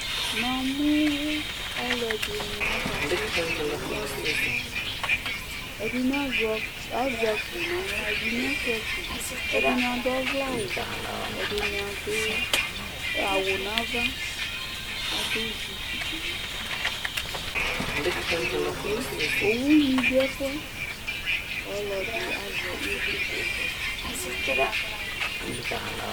Namu aluɛdini akasɛsɛnu aluli ɛdini azɛ akpo naɣla ɛdini Asia akpo ɛdini aɖu ɔvlɛ awu ɛdini adu awu naʋa aɖu zup nu uti ayanu abu une du ɛfuɛ ɔlɔdi azɛ ivlitsɛ naɣla